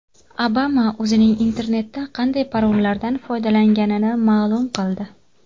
Obama o‘zining internetda qanday parollardan foydalanganini ma’lum qildi.